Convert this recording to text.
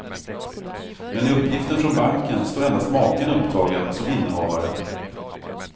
Men i uppgiften från banken står endast maken upptagen som innehavare.